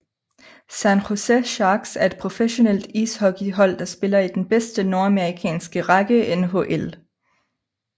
San Jose Sharks er et professionelt ishockeyhold der spiller i den bedste nordamerikanske række NHL